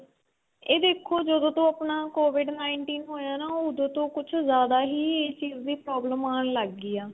ਇਹ ਦੇੱਖੋ ਜਦੋਂ ਤੋਂ ਆਪਣਾ covid nineteen ਹੋਇਆ ਨਾਂ ਉਦੋ ਤੋ ਕੁੱਝ ਜਿਆਦਾ ਹੀ ਇਹ ਚੀਜ ਦੀ problem ਆਣ ਲੱਗ ਗਈ ਆ